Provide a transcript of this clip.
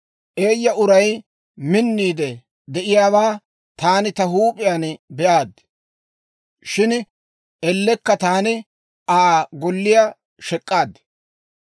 Eeyya uray minniide de'iyaawaa taani ta huup'iyaan be'aad; shin ellekka taani Aa golliyaa shek'k'aad.